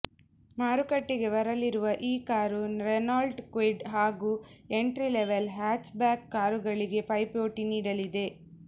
ಮಾರುಕಟ್ಟೆಗೆ ಬರಲಿರುವ ಈ ಕಾರು ರೆನಾಲ್ಟ್ ಕ್ವಿಡ್ ಹಾಗು ಎಂಟ್ರಿ ಲೆವೆಲ್ ಹ್ಯಾಚ್ಬ್ಯಾಕ್ ಕಾರುಗಳಿಗೆ ಪೈಪೋಟಿ ನೀಡಲಿದೆ